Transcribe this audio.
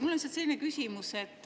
Mul on selline küsimus.